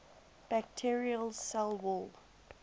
bacterial cell wall